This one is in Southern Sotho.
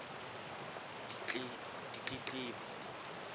ditletlebo